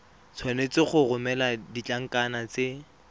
tshwanetse go romela ditlankana tse